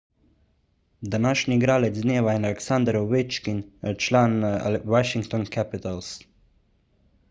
današnji igralec dneva je aleksander ovečkin član washington capitals